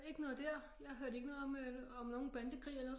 Ikke noget der jeg hørte ikke noget om nogen bandekrig eller